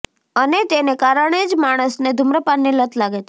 અને તેને કારણે જ માણસને ધૂમ્રપાનની લત લાગે છે